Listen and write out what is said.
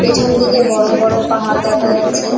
পেছন দিকে বড় বড় পাহাড় দেখা যাচ্ছে।